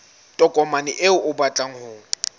tokomane eo o batlang ho